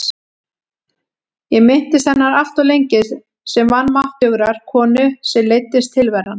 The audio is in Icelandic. Ég minntist hennar alltof lengi sem vanmáttugrar konu sem leiddist tilveran.